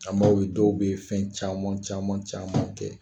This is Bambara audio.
An b'a ye dɔw bɛ fɛn caman caman caman kɛ.